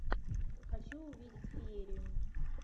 хочу увидеть феерию